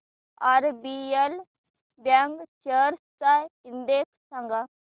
RBL bank shares चा index सांगा